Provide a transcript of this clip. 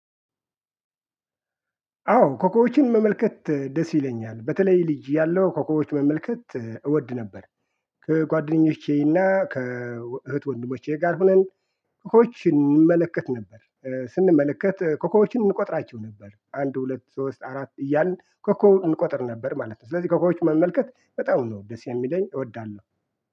አዎ ኮኮቦችን መመልከት ደስ ይለኛል በተለይ ልጅ እያለው ኮኮቦች መመልከት እወድ ነበር። ከጓደኞቼና ከእህት ወንድሞቼ ጋር ሁነን ኮኮቦች እንመለከት ነበር። ኧ ስንመለከት ኮኮቦችን እንቆጥራቸው ነበር አንድ ሁለት ሶስት አራት እያልን ኮኮብ እንቆጥር ነበር ማለት ነው። ስለዚህ ኮኮቦችን መመልከት በጣም ነው ደስ የሚለኝ እወዳለሁ